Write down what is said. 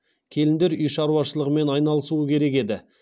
келіндер үй шаруашылығымен айналысуы керек еді